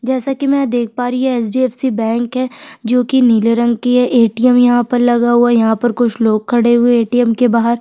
जैसा की मै देख पा रही हूँ ये H. D. F. C. Bank है जो कि नीले रंग की ए. टी. एम. यहाँ लगा हुआ है कुछ लोग खड़े हुए है ए. टी. एम. के बाहर--